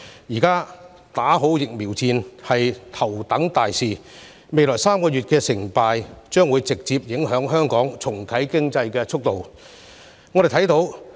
目前，"打好疫苗戰"是頭等大事，而未來3個月的成敗，將會直接影響香港重啟經濟的速度。